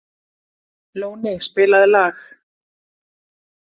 Lóni, spilaðu lag.